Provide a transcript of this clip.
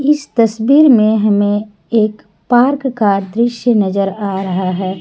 इस तस्वीर में हमें एक पार्क का दृश्य नजर आ रहा है।